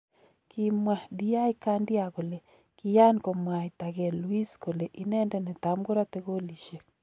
Kimwaa Di Candia kole kiaan komwaatagei Luis kole inendet netamkorote golisiek.